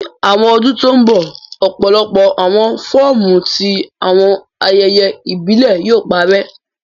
Ni awọn ọdun to nbọ, ọpọlọpọ awọn fọọmu ti awọn ayẹyẹ ibile yóò parẹ